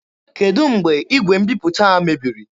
Kedụ mgbe igwe mbiputa a mebiri?